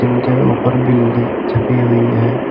जिनके ऊपर बिल्ली छपी हुई है।